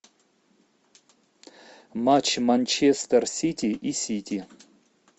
матч манчестер сити и сити